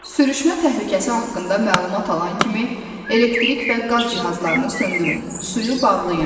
Sürüşmə təhlükəsi haqqında məlumat alan kimi elektrik və qaz cihazlarını söndürün, suyu bağlayın.